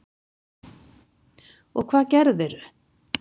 Og hvað gerðirðu?